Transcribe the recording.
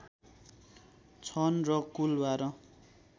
छन् र कुल १२